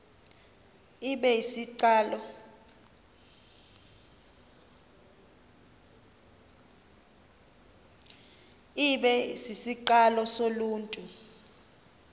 ibe sisiqalo soluntu